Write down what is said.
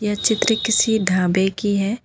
ये चित्र किसी ढाबे की है।